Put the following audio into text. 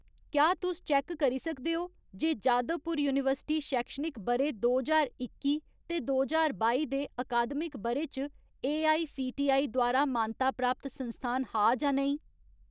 क्या तुस चैक्क करी सकदे ओ जे जादवपुर यूनिवर्सिटी शैक्षणिक ब'रे दो ज्हार इक्की ते दो ज्हार बाई दे अकादमिक ब'रे च एआईसीटीई द्वारा मानता प्राप्त संस्थान हा जां नेईं ?